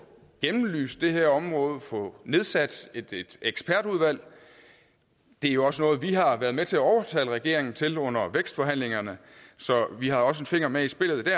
belyst det her område og nedsat et ekspertudvalg det er jo også noget vi har været med til at overtale regeringen til under vækstforhandlingerne så vi har også en finger med i spillet